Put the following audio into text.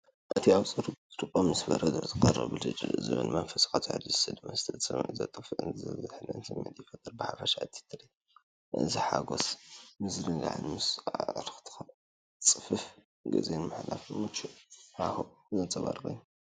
እቲ ኣብ ጽሩይ ብርጭቆ ምስ በረድ ዝቐርብ ብልጭ ዝብልን መንፈስካ ዘሐድስን መስተ፡ ጽምኢ ዘጥፍእን ዝዝሕልን ስምዒት ይፈጥር። ብሓፈሻ እዚ ትርኢት እዚ ሓጐስን ምዝንጋዕን ምስ ኣዕሩኽትኻ ጽፉፍ ግዜ ንምሕላፍ ምቹእ ሃዋህውን ዘንጸባርቕ እዩ።